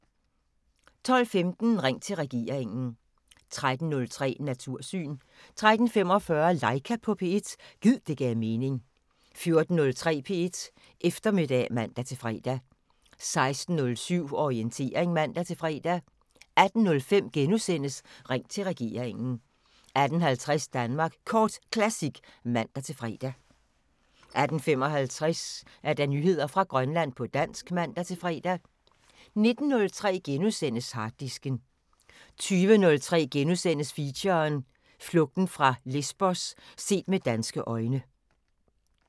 12:15: Ring til regeringen 13:03: Natursyn 13:45: Laika på P1 – gid det gav mening 14:03: P1 Eftermiddag (man-fre) 16:07: Orientering (man-fre) 18:05: Ring til regeringen * 18:50: Danmark Kort Classic (man-fre) 18:55: Nyheder fra Grønland på dansk (man-fre) 19:03: Harddisken * 20:03: Feature: Flugten over Lesbos – set med danske øjne *